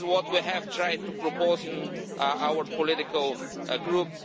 This is what we have tried to propose in our political group.